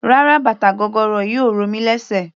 Rárá bàtà gogoro yìí ò ro mí lésè.